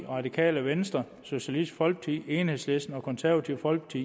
radikale venstre socialistisk folkeparti enhedslisten og det konservative folkeparti